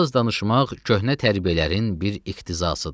Az danışmaq köhnə tərbiyələrin bir iqtizasıdır.